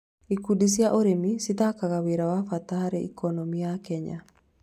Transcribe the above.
Ikundi cia ũrĩmi cĩthakaga wĩra wa bata hard ikonomĩ ya imagine cia Kenya